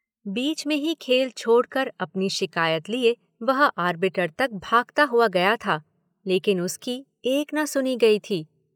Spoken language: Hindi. बीच में ही खेल छोड़ कर अपनी शिकायत लिए वह आर्बिटर तक भागता हुआ गया था लेकिन उसकी एक न सुनी गई थी।